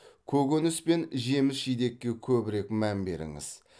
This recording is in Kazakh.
көкөніс пен жеміс жидекке көбірек мән беріңіз